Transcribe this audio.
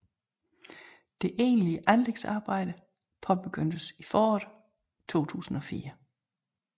Det egentlige anlægsarbejde påbegyndtes i foråret 2004